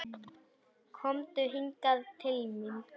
Komdu hingað til mín.